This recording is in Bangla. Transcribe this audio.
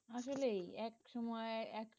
আসলে এক সময়ে,